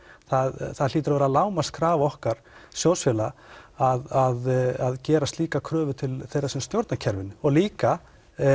það það hlýtur að vera lágmarkskrafa okkar sjóðsfélaga að gera slíka kröfu til þeirra sem stjórna kerfinu og líka